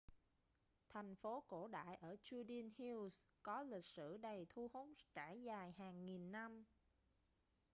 thành phố cổ đại ở judean hills có lịch sử đầy thu hút trải dài hàng nghìn năm